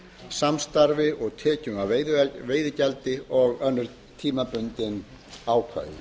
samstarfi og tekjum af veiðigjaldi og önnur tímabundin ákvæði